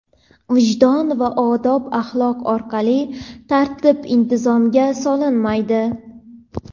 vijdon va odob-axloq orqali tartib-intizomga solinmaydi.